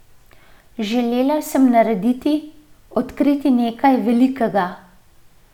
Želela sem narediti, odkriti nekaj velikega.